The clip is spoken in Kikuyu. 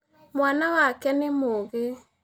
Mwana wake nĩ mũũgĩ